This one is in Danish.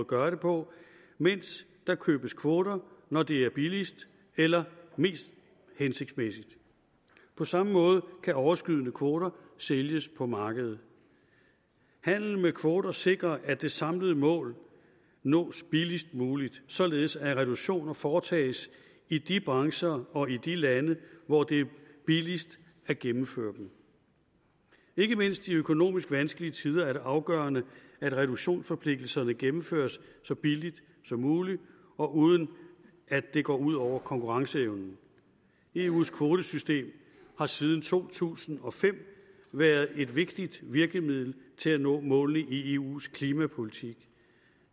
gøre det på mens der købes kvoter når det er billigst eller mest hensigtsmæssigt på samme måde kan overskydende kvoter sælges på markedet handel med kvoter sikrer at det samlede mål nås billigst muligt således at reduktioner foretages i de brancher og i de lande hvor det er billigst at gennemføre dem ikke mindst i økonomisk vanskelige tider er det afgørende at reduktionsforpligtelserne gennemføres så billigt som muligt og uden at det går ud over konkurrenceevnen eus kvotesystem har siden to tusind og fem været et vigtigt virkemiddel til at nå målene i eus klimapolitik